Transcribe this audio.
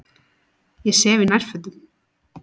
Ég sef í nærfötunum.